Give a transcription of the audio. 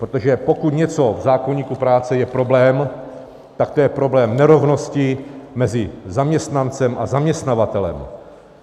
Protože pokud něco v zákoníku práce je problém, tak to je problém nerovnosti mezi zaměstnancem a zaměstnavatelem.